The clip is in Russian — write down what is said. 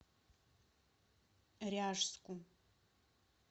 ряжску